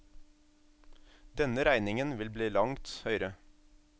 Denne regningen vil bli langt høyere.